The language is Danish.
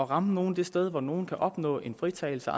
ramme det sted hvor nogle kan opnå en fritagelse